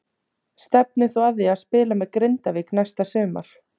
Stefnir þú að því að spila með Grindavík næsta sumar?